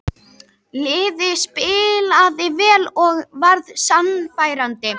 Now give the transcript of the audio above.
Liðið spilaði vel og var sannfærandi.